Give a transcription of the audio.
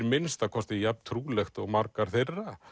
minnsta kosti jafn trúlegt og margar þeirra